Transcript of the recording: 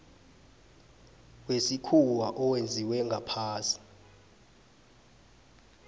wesikhuwa owenziwe ngaphasi